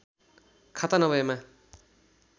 खाता नभएमा